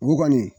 O kɔni